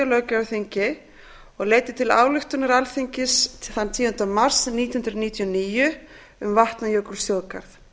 löggjafarþingi og leiddi til ályktunar alþingis þann tíunda mars nítján hundruð níutíu og níu um vatnajökulsþjóðgarð